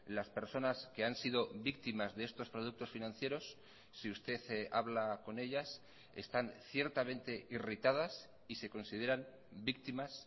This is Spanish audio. las personas que han sido víctimas de estos productos financieros si usted habla con ellas están ciertamente irritadas y se consideran víctimas